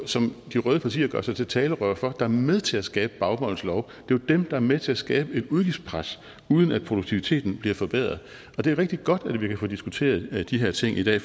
som de røde partier gør sig til talerør for er med til at skabe baumols lov det jo dem der er med til at skabe et udgiftspres uden at produktiviteten bliver forbedret og det er rigtig godt at vi kan få diskuteret de her ting i dag